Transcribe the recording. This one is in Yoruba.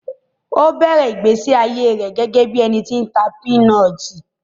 Ó bẹ̀rẹ̀ ìgbésí ayé rẹ̀ gẹ́gẹ́ bí ẹni tí ń ta pinọti